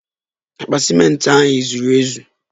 Akpa ciment ahu ezuru ezu?